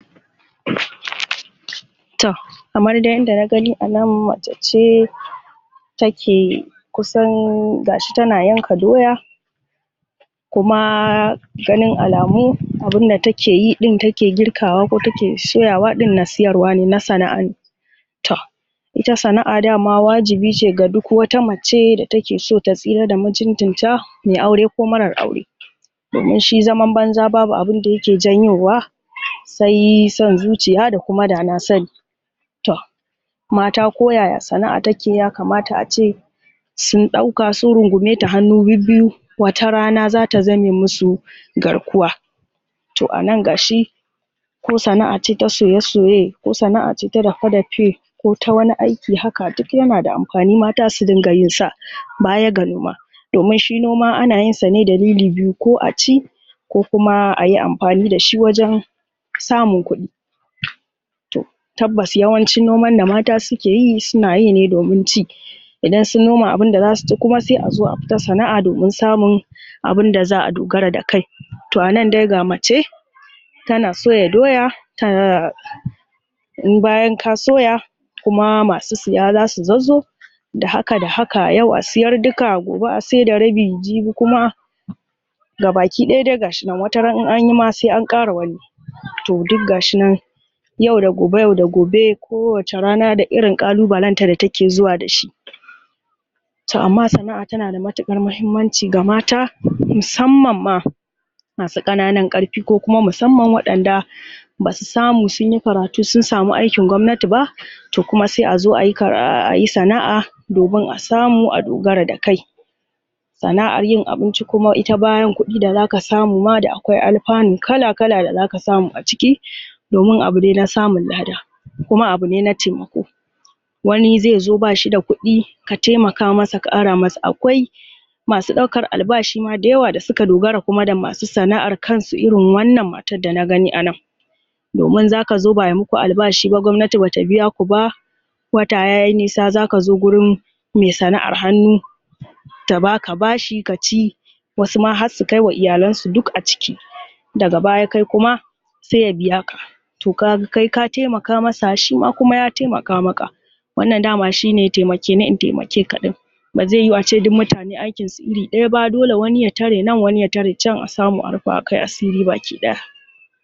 (????????????) toh Kamar dai yanda na gani anan mace ce Take, Kusan.... gashi tana yanka doya Kuma Ganin alamu Abinda take yi din take girkawa, ko take soyawa din na sayarwa ne, na sana'a ne Toh Ita sana'a daman wajibi ce ga duk wata mace da take sota tsira da mutuncin ta!.. Mai aure ko marar aure Domin shi zaman banza ba abinda yake janyowa Sai san zuciya da kuma danasani Toh Mata koyaya sana'a take ya kamata ace Sun dauka sun rungume ta hannu bibbiyu Watarana zata zame masu Garkuwa To anan gashi Ko sana'a ce ta soye soye Ko sana'a ce ta dawa dape Ko ta wani aiki haka duk yana da amfani mata su dinga yinsa Baya ga noma Domin shi noma ana yinsa ne dalili biyu, Ko aci Ko kuma, ayi amfani dashi wajen!... Samun kudi Toh Tabbas yawancin noman da mata sukeyi suna yine domin ci. Idan sun noma abunda zasu ci kuma sai azo a fita sana'a domin samun Abunda za'a dogara da kai Toh anan dai ga mace, Tana soya doya Ta Bayan ka soya Kuma masu saya zasu zazzo Da haka da haka yau a sayar duka gobe a saida rabi jibi kuma Ga baki daya dai gashi nan wataran in anyima sai ankara wani To duk gashi nan Yau da gobe yau da goe Kowace rana da irin ƙalubalen ta da takezuwa dashi Toh amma sana'a tana da matukar mahimmanci ga mata Musamman ma Masu ƙananan ƙarfi ko kuma musamman waɗanda Basu samu sunyi karatu sun samu aikin gwamnati ba To kuma sai azo ayi kara ayi sana'a Domun a samu a dogara da kai Sana'ar yin abinci kuma ita bayan kuɗi da zaka samu ma da akwai alpanu kala kala da zaka samu a ciki!.. Domun abune na samu lada Kuma abu ne na taimako Wani zai zo bashida kuɗi Ka taimaka masa ka ara masa akwai Masu ɗaukar albashin mada yawa da suka dogara kuma da masu sana'ar kansu irin wannan matar dana gani anan Domin zaka zo ba'ai maku albashi ba gwamnati bata biya kuba Wata yayi nisa zaka zo gurin Mai sana'ar hannu Ta baka bashi kaci, Wasu ma harsu kaima iyalansu duk a ciki Daga baya kai kuma Sai ya biya ka Toh kaga kai ka taimaka masa shima kuma ya taimaka maka Wannan dama shine taimakeni in taimake kaɗin Bazai yiwu ace duk mutane aikinsu iri, Daya ba dole wani ya tare nan wani ya tare chan a samu a rupawa kai asiri baki daya